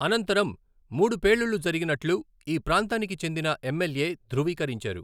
అనంతరం, మూడు పేలుళ్లు జరిగినట్లు ఈ ప్రాంతానికి చెందిన ఎమ్మెల్యే ధ్రువీకరించారు.